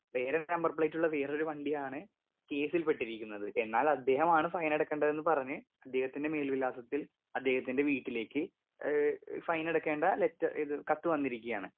Speaker 2 വേറൊരു number പ്ലേറ്റുള്ള വേറൊരു വണ്ടിയാണ് കേസിൽ പെട്ടിരിക്കുന്നത് എന്നാൽ അദ്ദേഹമാണ് ഫൈനടക്കേണ്ടതെന്ന് പറഞ്ഞ് അദ്ദേഹത്തിന്റെ മേൽവിലാസത്തിൽ അദ്ദേഹത്തിൻറെ വീട്ടിലേക്ക് ഏ ഫൈനടക്കേണ്ട ലെറ്റ ഇത് കത്ത് വന്നിരിക്കാണ്.